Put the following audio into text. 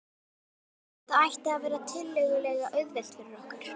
Þetta ætti að verða tiltölulega auðvelt fyrir okkur.